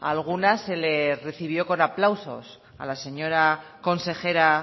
algunas se le recibió con aplausos a la señora consejera